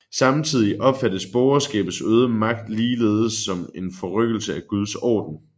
Samtidig opfattes borgerskabets øgede magt ligeledes som en forrykkelse af guds orden